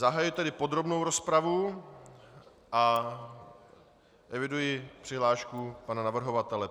Zahajuji tedy podrobnou rozpravu a eviduji přihlášku pana navrhovatele.